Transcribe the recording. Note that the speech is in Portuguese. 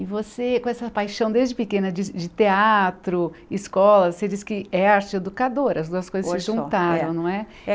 E você, com essa paixão desde pequena de de teatro, escola, você diz que é arte educadora, as duas coisas se juntaram, não é?